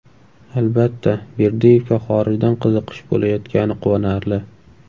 Albatta, Berdiyevga xorijdan qiziqish bo‘layotgani quvonarli.